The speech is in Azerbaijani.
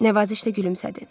Nəvazişlə gülümsədi.